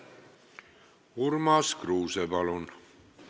Urmas Kruuse, palun!